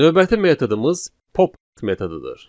Növbəti metodumuz pop metodudur.